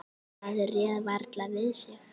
Maður réð varla við sig.